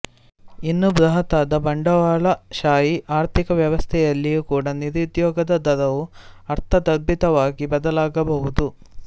ಇನ್ನು ಬೃಹತ್ತಾದ ಬಂಡವಾಳಶಾಹಿ ಆರ್ಥಿಕ ವ್ಯವಸ್ಥೆಯಲ್ಲಿಯೂ ಕೂಡ ನಿರುದ್ಯೋಗದ ದರವು ಅರ್ಥದರ್ಭಿತವಾಗಿ ಬದಲಾಗಬಹುದು